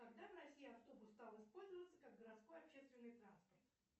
когда в россии автобус стал использоваться как городской общественный транспорт